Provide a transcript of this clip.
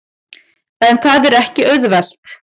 En það er ekki auðvelt.